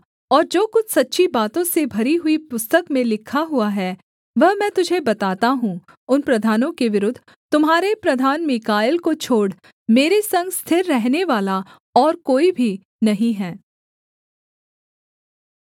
और जो कुछ सच्ची बातों से भरी हुई पुस्तक में लिखा हुआ है वह मैं तुझे बताता हूँ उन प्रधानों के विरुद्ध तुम्हारे प्रधान मीकाएल को छोड़ मेरे संग स्थिर रहनेवाला और कोई भी नहीं है